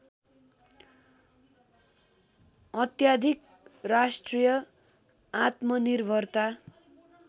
अत्याधिक राष्ट्रिय आत्मनिर्भरता